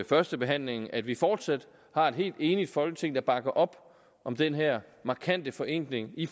førstebehandlingen at vi fortsat har et helt enigt folketing der bakker op om den her markante forenkling i